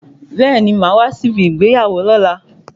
Bẹẹni, máa wá sí ibi ìgbéyàwó lóla